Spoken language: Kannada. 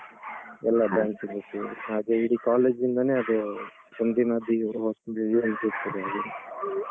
ಎಲ್ಲಾ branch ಗಳು ಸೇರಿ ಹಾಗೆ. ಇಡೀ college ಇಂದಾನೆ ಅದು ಒಂದ್ ದಿನದ್ದು ಅಲ್ಲಿ.